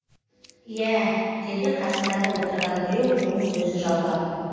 иә деді қасындағы отырған біреу оның сөзін жалғап